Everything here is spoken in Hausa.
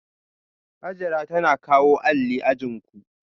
Hajara tana kawo alli ajin ku